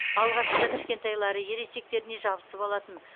алғашында кішкентайлары ересектеріне жабысып алатын